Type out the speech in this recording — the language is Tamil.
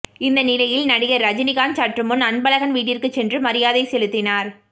இந்த நிலையில் நடிகர் ரஜினிகாந்த் சற்றுமுன்னர் அன்பழகன் வீட்டிற்குச் சென்று மரியாதை செலுத்தினார்